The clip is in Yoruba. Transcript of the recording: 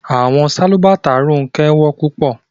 Ronke's slippers were very expensive